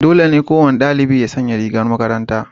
Dole ne kowane dalibi ya sanya rigar makaranta.